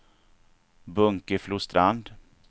Bunkeflostrand